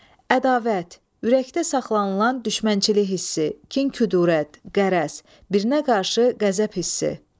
Ədavət, ürəkdə saxlanılan düşmənçilik hissi, kin-kudurət, qərəz, birinə qarşı qəzəb hissi.